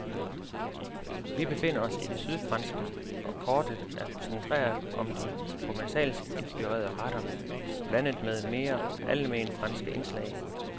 Vi befinder os i det sydfranske, og kortet er koncentreret om de provencalsk inspirerede retter blandet med mere almenfranske indslag.